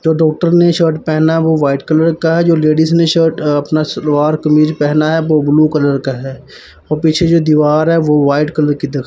तो डॉक्टर ने शर्ट पेहना वो व्हाइट कलर का है जो लेडीज ने शर्ट अ अपना सलवार कमीज पेहना है वो ब्ल्यू कलर का है अ पीछे जो दीवार है वो वाइट कलर की दिख --